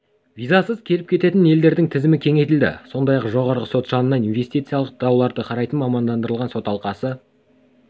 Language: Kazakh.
визасыз келіп-кететін елдердің тізімі кеңейтілді сондай-ақ жоғарғы сот жанынан инвестициялық дауларды қарайтын мамандандырылған сот алқасы